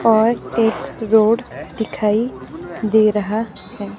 और एक रोड दिखाई दे रहा है।